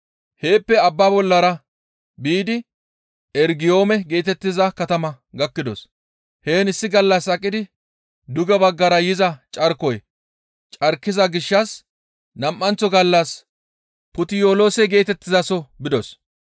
Heeppe abbaa bollara biidi Eregiyoome geetettiza katama gakkidos; heen issi gallas aqidi duge baggara yiza carkoy carkida gishshas nam7anththo gallas Puttiyoloose geetettizaso bidos.